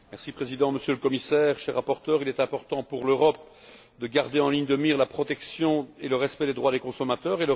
Monsieur le Président, Monsieur le Commissaire, cher rapporteur, il est important pour l'Europe de garder en ligne de mire la protection et le respect des droits des consommateurs.